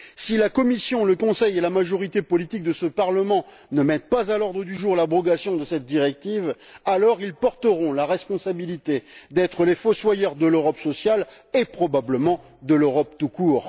Si la Commission, le Conseil et la majorité politique de ce Parlement ne mettent pas à l'ordre du jour l'abrogation de cette directive, ils porteront la responsabilité d'être les fossoyeurs de l'Europe sociale et, probablement, de l'Europe tout court.